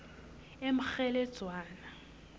emkgheledzwana